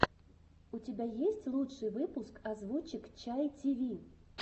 у тебя есть лучший выпуск озвучек чай тиви